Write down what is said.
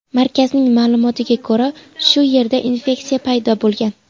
Markazning ma’lumotiga ko‘ra, shu yerda infeksiya paydo bo‘lgan.